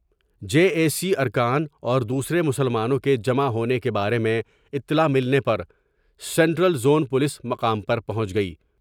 J A C ارکان اور دوسرے مسلمانوں کے جمع ہونے کے بارے میں اطلاع ملنے پرسنٹرک زون پولیس مقام پر پہنچ گئی ۔